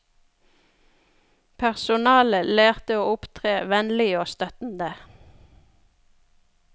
Personalet lærte å opptre vennlig og støttende.